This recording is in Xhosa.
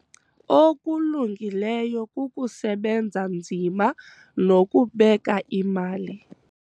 Okulungileyo kukusebenza nzima nokubeka imali.